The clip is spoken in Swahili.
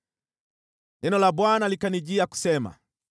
Neno la Bwana likanijia kusema: